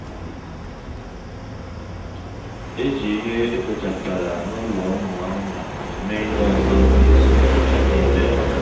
eji ihe ekpochapụtara n'ụlọ ụmụ anụmanụ eme ihe ọzọ n'izu ụka niile